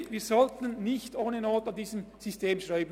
Wir sollten nicht ohne Not an diesem System rumschrauben.